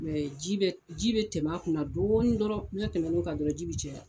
ji bɛ ji bɛ tɛmɛ a kunna dɔɔnin dɔrɔn n'a tɛmɛna'o kan dɔrɔn ji bi caya.